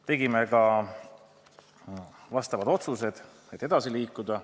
Tegime ka vastavad otsused, et menetlusega edasi liikuda.